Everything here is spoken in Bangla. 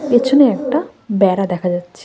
পেছনে একটা বেড়া দেখা যাচ্ছে।